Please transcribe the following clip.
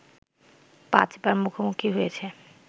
পাঁচবার মুখোমুখি হয়েছে